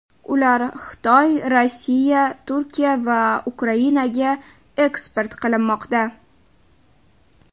Ular Xitoy, Rossiya, Turkiya va Ukrainaga eksport qilinmoqda.